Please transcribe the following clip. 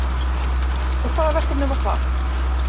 Og hvaða verkefni var það